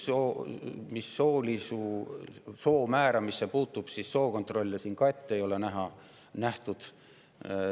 Mis soo määramisse puutub, siis sookontrolle siin ette nähtud ei ole.